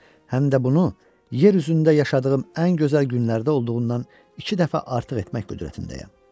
Həm də bunu yer üzündə yaşadığım ən gözəl günlərdə olduğundan iki dəfə artıq etmək qüdrətindəyəm.